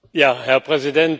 Herr Präsident!